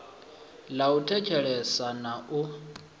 ḽa u thetshelesa na u